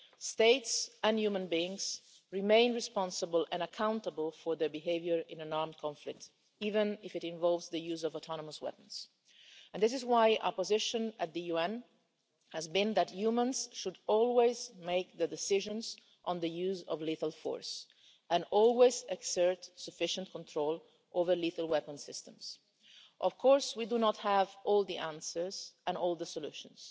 States and human beings remain responsible and accountable for their behaviour in an armed conflict, even if it involves the use of autonomous weapons, and this is why our position at the UN has been that humans should always make the decisions on the use of lethal force and always exert sufficient control over lethal weapon systems. Of course, we do not have all the answers or all the solutions,